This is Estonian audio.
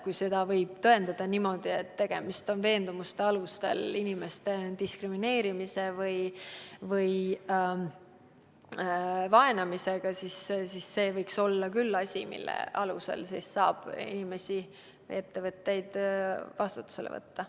Kui saab tõendada, et tegemist on veendumuste alusel inimeste diskrimineerimise või vaenamisega, siis selle alusel saaks küll inimesi või ettevõtteid vastutusele võtta.